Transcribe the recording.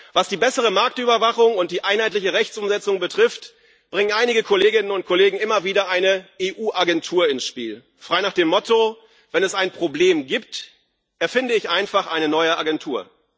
Was die bessere Marktüberwachung und die einheitliche Rechtsumsetzung betrifft, bringen einige Kolleginnen und Kollegen immer wieder eine EU Agentur ins Spiel, frei nach dem Motto Wenn es ein Problem gibt, erfinde ich einfach eine neue Agentur.